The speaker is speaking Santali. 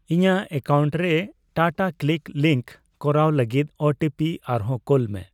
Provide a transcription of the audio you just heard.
ᱤᱧᱟᱜ ᱮᱠᱟᱣᱩᱱᱴᱨᱮ ᱴᱟᱴᱟᱠᱞᱤᱠ ᱞᱤᱸᱠ ᱠᱚᱨᱟᱣ ᱞᱟᱹᱜᱤᱫ ᱳ ᱴᱤ ᱯᱤ ᱟᱨᱦᱚ ᱠᱳᱞᱢᱮ ᱾